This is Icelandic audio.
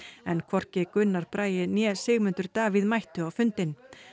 en hvorki Gunnar Bragi né Sigmundur Davíð mættu á fundinn